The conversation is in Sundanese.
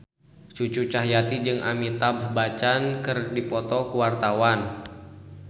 Cucu Cahyati jeung Amitabh Bachchan keur dipoto ku wartawan